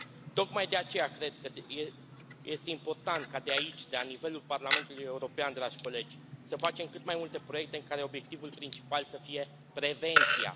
Tocmai de aceea cred că este important ca de aici, de la nivelul Parlamentului European, dragi colegi, să facem cât mai multe proiecte în care obiectivul principal să fie prevenția.